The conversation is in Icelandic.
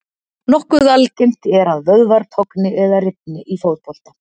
Nokkuð algengt er að vöðvar togni eða rifni í fótbolta.